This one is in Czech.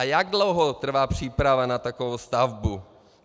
A jak dlouho trvá příprava na takovou stavbu?